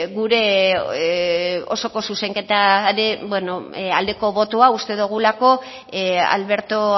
gure osoko zuzenketaren aldeko botoa uste dogulako alberto